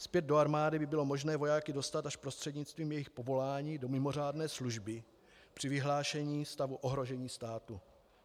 Zpět do armády by bylo možné vojáky dostat až prostřednictvím jejich povolání do mimořádné služby při vyhlášení stavu ohrožení státu.